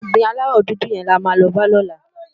Óbìrín àláwò dúdú yèn làmá lò bá lòlá